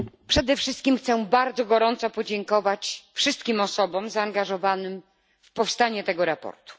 Przede wszystkim chcę bardzo gorąco podziękować wszystkim osobom zaangażowanym w powstanie tego sprawozdania.